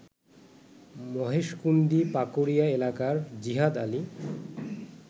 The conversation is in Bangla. মহেশকুন্দি পাকুড়িয়া এলাকার জিহাদ আলী